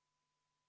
Rene Kokk, palun!